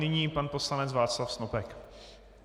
Nyní pan poslanec Václav Snopek.